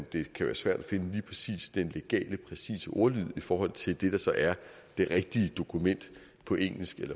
det kan være svært at finde lige præcis den legale præcise ordlyd i forhold til det der så er det rigtige dokument på engelsk